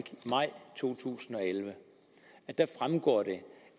maj to tusind og elleve fremgår